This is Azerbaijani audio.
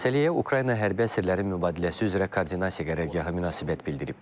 Məsələyə Ukrayna hərbi əsirlərinin mübadiləsi üzrə koordinasiya qərargahı münasibət bildirib.